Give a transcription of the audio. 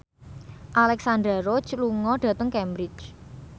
Alexandra Roach lunga dhateng Cambridge